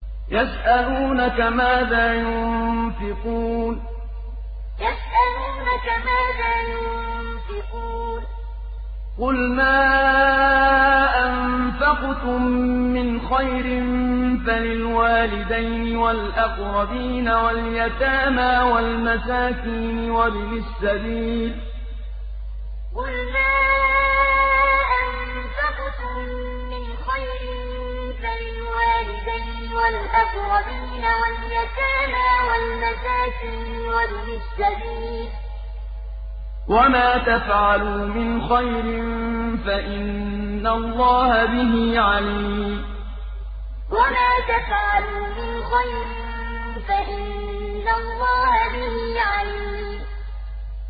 يَسْأَلُونَكَ مَاذَا يُنفِقُونَ ۖ قُلْ مَا أَنفَقْتُم مِّنْ خَيْرٍ فَلِلْوَالِدَيْنِ وَالْأَقْرَبِينَ وَالْيَتَامَىٰ وَالْمَسَاكِينِ وَابْنِ السَّبِيلِ ۗ وَمَا تَفْعَلُوا مِنْ خَيْرٍ فَإِنَّ اللَّهَ بِهِ عَلِيمٌ يَسْأَلُونَكَ مَاذَا يُنفِقُونَ ۖ قُلْ مَا أَنفَقْتُم مِّنْ خَيْرٍ فَلِلْوَالِدَيْنِ وَالْأَقْرَبِينَ وَالْيَتَامَىٰ وَالْمَسَاكِينِ وَابْنِ السَّبِيلِ ۗ وَمَا تَفْعَلُوا مِنْ خَيْرٍ فَإِنَّ اللَّهَ بِهِ عَلِيمٌ